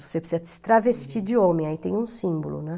Você precisa se travestir de homem, aí tem um símbolo, né.